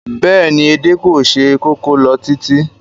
Bẹ́ẹ̀ni, edé kò se kókó lọ títí